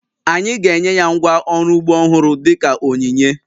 Anyị ga-enye ya ngwá ọrụ ugbo ọhụrụ dị ka onyinye